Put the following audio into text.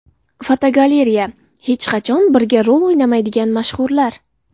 Fotogalereya: Hech qachon birga rol o‘ynamaydigan mashhurlar.